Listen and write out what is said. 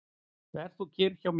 Ver þú kyrr hjá mér.